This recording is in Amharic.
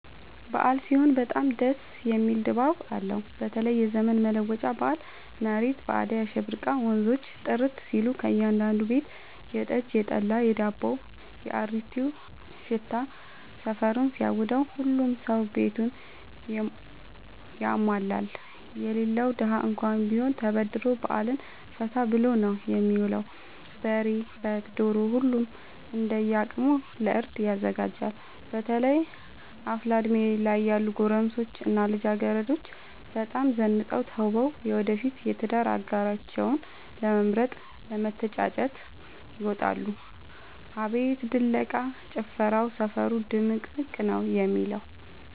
አበዓል ሲሆን በጣም ደስ የሚል ድባብ አለው በተለይም የዘመን መለወጫ በአል መሬት በአዳይ አሸብርቃ ወንዞቹ ጥርት ሲሉ ከእያዳዱ ቤት የጠጅ፣ የጠላ የዳቦው።፣ የአሪቲው ሽታ ሰፈሩን ሲያውደው። ሁሉም ሰው ቤቱን ያሟላል የሌለው ደሀ እንኳን ቢሆን ተበድሮ በአልን ፈታ ብሎ ነው የሚውለው። በሬ፣ በግ፣ ዶሮ ሁሉም እንደየ አቅሙ ለእርድ ያዘጋጃል። በተለይ አፍላ እድሜ ላይ ያሉ ጎረምሶች እና ልጃገረዶች በጣም ዘንጠው ተውበው የወደፊት የትዳር አጋራቸውን ለመምረጥ ለመተጫጨት ይወጣሉ። አቤት ድለቃ፣ ጭፈራው ሰፈሩ ድምቅምቅ ነው የሚለው።